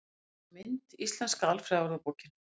Heimild og mynd: Íslenska alfræðiorðabókin.